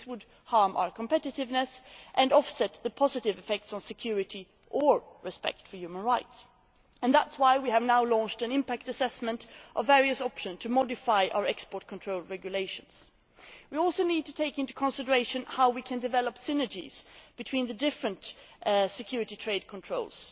This would harm our competitiveness and offset the positive effects on security, or on respect for human rights, and that is why we have now launched an impact assessment of various options to modify our export control regulations. We also need to take into consideration how we can develop synergies between the different security trade controls.